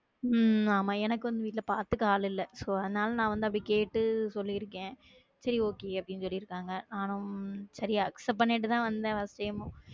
உம் ஆமா, எனக்கும் இதுல பாத்துக்க ஆளில்ல so அதனால நான் வந்து அப்படி கேட்டு சொல்லியிருக்கேன் ம் சரி okay அப்படின்னு சொல்லிருக்காங்க நானும் சரியா accept பண்ணிட்டுதான் வந்தேன்